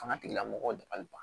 Fanga tigilamɔgɔw dabali ban